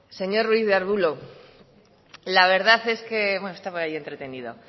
señor ruiz de arbulo la verdad es que bueno estaba ahí entretenido